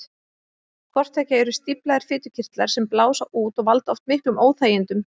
Hvort tveggja eru stíflaðir fitukirtlar sem blása út og valda oft miklum óþægindum.